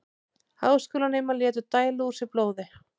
Háskólanemar létu dæla úr sér blóði